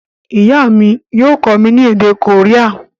Ìyá mi yio kómí ni èdè Korea